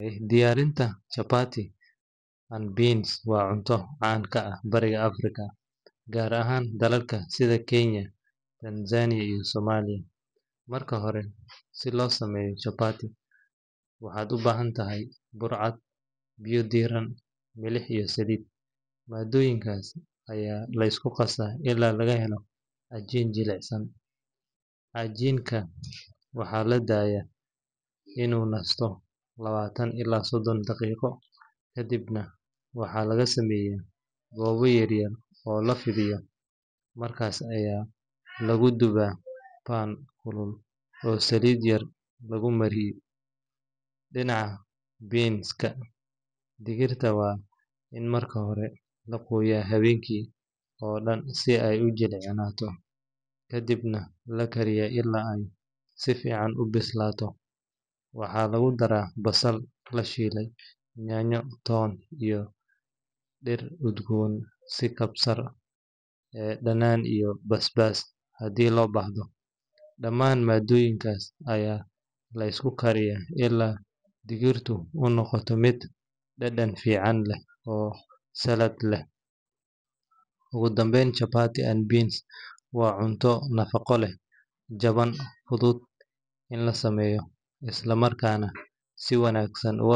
Diyaarinta chapati and beans waa cunto caan ka ah bariga Afrika, gaar ahaan dalalka sida Kenya, Tanzania, iyo Soomaaliya. Marka hore, si loo sameeyo chapati, waxaad u baahan tahay bur cad, biyo diiran, milix, iyo saliid. Maaddooyinkaas ayaa la isku qasaa ilaa laga helo cajiin jilicsan. Cajiinka waxaa la daayaa inuu nasto lawatan ilaa soddon daqiiqo, kadibna waxaa laga sameeyaa goobo yaryar oo la fidiyo, markaas ayaa lagu dubaa pan kulul oo saliid yar lagu mariyay. Dhinaca beans-ka, digirta waa in marka hore la qooyaa habeenkii oo dhan si ay u jilcato, kadibna la kariyaa ilaa ay si fiican u bislaato. Waxaa lagu daraa basal la shiiday, yaanyo, toon, iyo dhir udgoon sida kabsar, dhanaan, iyo basbaas haddii loo baahdo. Dhammaan maaddooyinkaas ayaa la isku kariyaa ilaa digirtu u noqoto mid dhadhan fiican leh oo saalad leh. Ugu dambayn, chapati and beans waa cunto nafaqo leh, jaban, fudud in la sameeyo, isla markaana si wanaagsan uga.